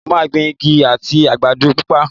Mo máa gbin Ẹ̀gẹ́ àti àgbàdo papọ̀.